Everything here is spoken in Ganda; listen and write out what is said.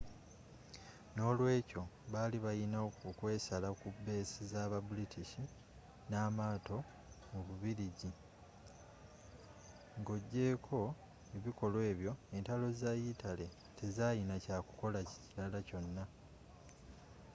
n'olweekyo baali balina okwesala ku beesi zaba british n'amaato mu bubiligi nga ojeeko ebikolwa ebyo entalo za italy tezalina kyakukola kilala kyona